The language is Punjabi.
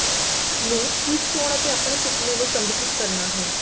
ਨੂੰ ਠੀਕ ਸੌਣ ਅਤੇ ਆਪਣੇ ਸੁਪਨੇ ਨੂੰ ਸੰਗਠਿਤ ਕਰਨਾ ਹੈ